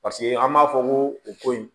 Paseke an b'a fɔ ko o ko in